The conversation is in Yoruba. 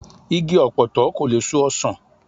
Igi ọ̀pọ̀tọ́ kò lè so ọsàn